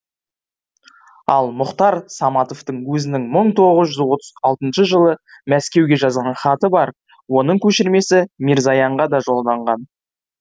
ал мұхтар саматовтың өзінің мың тоғыз жүз отыз алтыншы жылы мәскеуге жазған хаты бар оның көшірмесі мирзоянға да жолданған